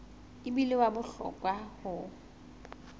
e bile wa bohlokwa ho